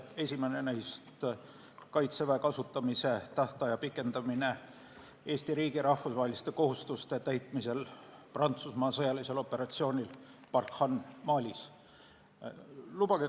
Esimene neist on Kaitseväe kasutamise tähtaja pikendamine Eesti riigi rahvusvaheliste kohustuste täitmisel Prantsusmaa sõjalisel operatsioonil Barkhane Malis.